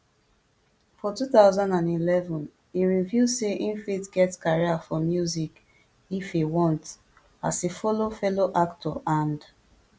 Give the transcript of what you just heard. for two thousand and eleven e reveal say im fit get career for music if e want as e follow fellow actor and